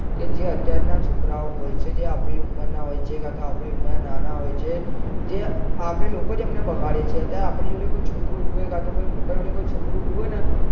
કે જે અત્યાર ના છોકરાઓ હોય છે જે આપડી ઉંમર ના હોય એ કાતો આપડી ઉંમર કરતા નાના હોય જે આપડે લોકો જ એમને બગાડીએ છીએ અતયારે આપડા જોડે કોઈ છોકરું ઉભું હોય કાતો કોઈ મોટા જોડે કોઈ છોકરું ઉભું હોય ને